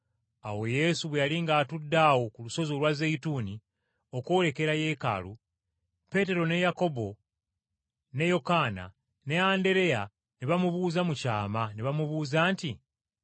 Awo Yesu bwe yali ng’atudde awo ku lusozi olwa Zeyituuni, okwolekera yeekaalu, Peetero ne Yakobo ne Yokaana ne Andereya ne bamubuuza mu kyama, ne bamubuuza nti,